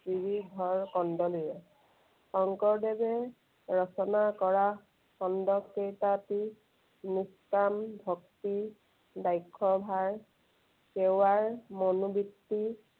শ্ৰীধৰ কন্দলীয়ে। শঙ্কৰদেৱে ৰচনা কৰা খণ্ডকেইটাতো নিষ্কাম ভক্তি, বাক্যভাৰ, সেৱাৰ মনোবৃত্তি